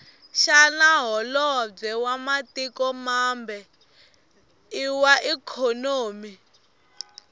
shana hholobwe wamatiko mambe iwaikonomi